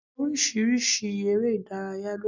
Orísirísi eré Ìdárayá ló wà